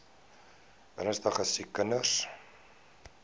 ernstige siek kinders